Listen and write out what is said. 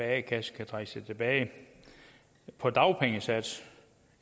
a kasse kan trække sig tilbage på dagpengesats